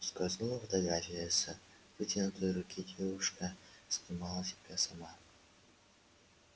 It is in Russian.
скользнула фотография с вытянутой руки девушка снимала себя сама